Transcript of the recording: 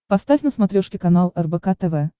поставь на смотрешке канал рбк тв